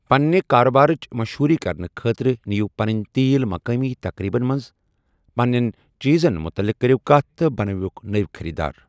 پَننہِ کارٕبارچ مشہوٗری کرنہٕ خٲطرٕ نِیِو پَنٕنۍ تیٖل مقٲمی تقریٖبن منٛز، پنٛنٮ۪ن چیٖزن متعلِق کٔرِو کَتھ، تہٕ بنٲوِو نٔوۍ خریٖدار۔